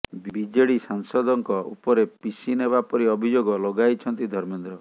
BJD ସାଂସଦଙ୍କ ଉପରେ ପିସି ନେବା ପରି ଅଭିଯୋଗ ଲଗାଇଛନ୍ତି ଧର୍ମେନ୍ଦ୍ର